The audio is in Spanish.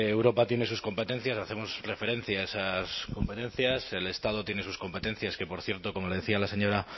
europa tiene sus competencias hacemos referencia a esas competencias el estado tiene sus competencias que por cierto como lo decía la señora